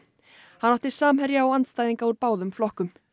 hann átti samherja og andstæðinga úr báðum flokkum